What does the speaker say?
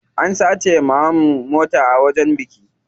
An sace wa mamanmu mota a wajen biki.